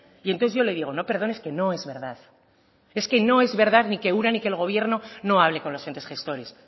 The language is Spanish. y entonces yo le digo no perdone es que no es verdad es que no es verdad ni que ura ni que el gobierno no hable con los entes gestores